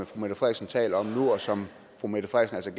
frederiksen taler om nu og som fru mette frederiksen